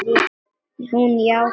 Hún játti því.